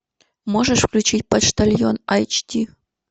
можешь включить почтальон айч ди